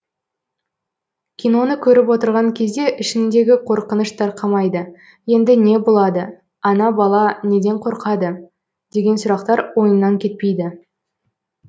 киноны көріп отырған кезде ішіңдегі қорқыныш тарқамайды енді не болады ана бала неден қорқады деген сұрақтар ойыңнан кетпейді